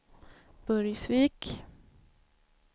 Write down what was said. Burgsvik